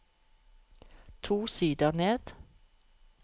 To sider ned